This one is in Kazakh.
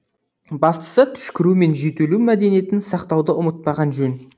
бастысы түшкіру мен жөтелу мәдениетін сақтауды ұмытпаған жөн